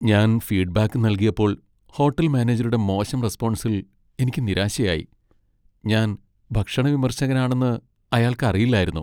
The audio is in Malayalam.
ഞാൻ ഫീഡ്ബാക്ക് നൽകിയപ്പോൾ ഹോട്ടൽ മാനേജരുടെ മോശം റെസ്പൊൺസിൽ എനിക്ക് നിരാശയായി. ഞാൻ ഭക്ഷണ വിമർശകനാണെന്ന് അയാൾക്ക് അറിയില്ലായിരുന്നു .